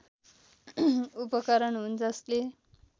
उपकरण हुन् जसले